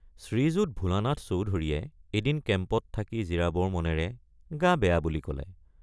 শ্ৰীযুত ভোলানাথ চৌধুৰীয়ে এদিন কেম্পত থাকি জিৰাবৰ মনেৰে গা বেয়া বুলি কলে।